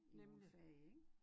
I nogen fag ik